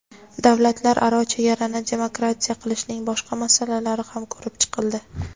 davlatlararo chegarani demarkatsiya qilishning boshqa masalalari ham ko‘rib chiqildi.